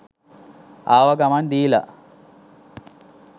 ආව ගමන් දීලා